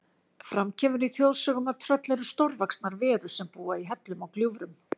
Fram kemur í þjóðsögum að tröll eru stórvaxnar verur sem búa í hellum og gljúfrum.